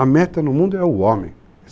A meta no mundo é o homem.